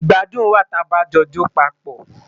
Igbàdùn wa tà bá jo jọ pápọ